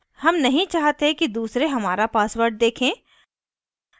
हम नहीं चाहते कि दूसरे हमारा password देखें